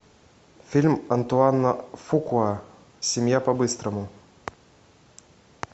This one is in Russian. фильм антуана фукуа семья по быстрому